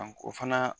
o fana